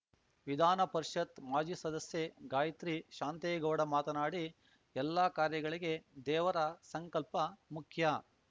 ವಿಧಾನ ಪರಿಷತ್‌ ಮಾಜಿ ಸದಸ್ಯೆ ಗಾಯತ್ರಿ ಶಾಂತೇಗೌಡ ಮಾತನಾಡಿ ಎಲ್ಲಾ ಕಾರ್ಯಗಳಿಗೆ ದೇವರ ಸಂಕಲ್ಪ ಮುಖ್ಯ